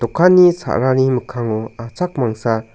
dokanni sa·rani mikkango achak mangsa--